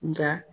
Nka